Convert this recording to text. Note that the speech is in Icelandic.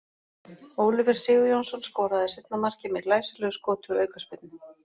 Oliver Sigurjónsson skoraði seinna markið með glæsilegu skoti úr aukaspyrnu.